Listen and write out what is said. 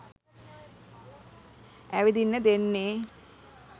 ඇවිදින්න දෙන්නේ.